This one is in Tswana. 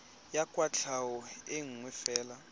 ya kwatlhao e nngwe fela